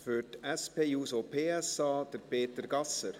Für die SP-JUSO-PSA, Peter Gasser.